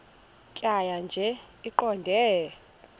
tjhaya nje iqondee